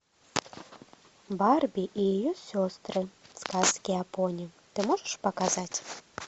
барби и ее сестры сказки о пони ты можешь показать